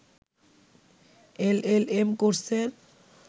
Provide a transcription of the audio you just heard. LLM কোর্সের